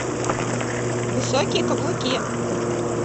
высокие каблуки